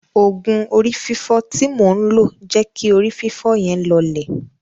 Òògùn orí fífọ́ tí mò ń lo jẹ́ kí orí fífọ́ yẹn lọọlẹ̀.